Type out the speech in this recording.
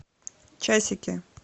часики